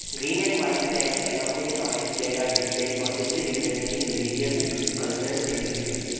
Green and white flags along with an orange flag are displayed possibly representing religious and cultural significance.